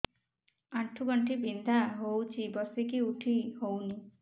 ଆଣ୍ଠୁ ଗଣ୍ଠି ବିନ୍ଧା ହଉଚି ବସିକି ଉଠି ହଉନି